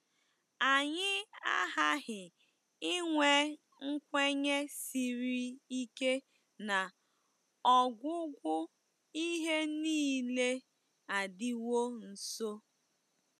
Anyị aghaghị inwe nkwenye siri ike na “ọgwụgwụ ihe nile adịwo nso.”